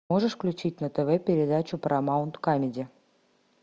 можешь включить на тв передачу парамаунт камеди